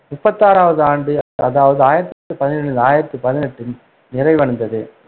முப்பத்து ஆறாவது ஆண்டு, அதாவது ஆயிரத்தி பதினேழு பதினெட்டில் நிறைவடைந்தது.